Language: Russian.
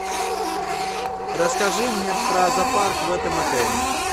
расскажи мне про зоопарк в этом отеле